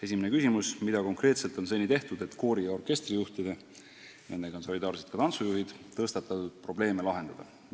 Esimene küsimus: "Mida konkreetselt on seni tehtud, et koori- ja orkestrijuhtide tõstatatud probleeme lahendada?